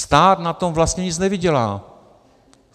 Stát na tom vlastně nic nevydělá.